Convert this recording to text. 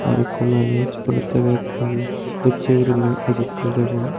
ikko manuj olotteu bag pin docchey guriney ejettey degong.